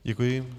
Děkuji.